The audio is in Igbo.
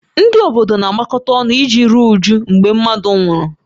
Ndị obodo na-agbakọta ọnụ iji ruo újú mgbe mmadụ nwụrụ